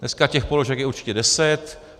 Dneska těch položek je určitě deset.